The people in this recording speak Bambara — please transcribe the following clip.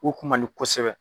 U kun man di kosɛbɛ.